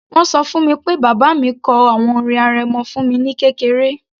Wọ́n ṣọ fún mi pé bàbá mi kọ àwọn orin arẹmọ fún mi ní kékeré